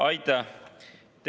Aitäh!